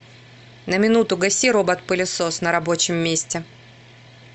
на минуту гаси робот пылесос на рабочем месте